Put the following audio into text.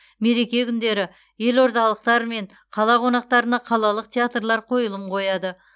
мереке күндері елордалықтар мен қала қонақтарына қалалық театрлар қойылым қояды